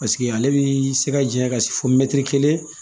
Paseke ale bi se ka janya ka se fo kelen